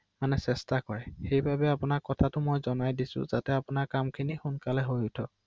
অ অ